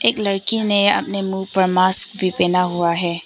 लड़की ने अपने मुंह पर मास्क भी पहना हुआ है।